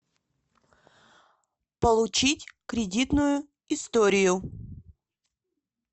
получить кредитную историю